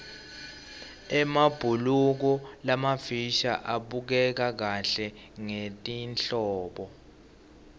emabhuluko lamafisha abukeka kahle ngelihlobo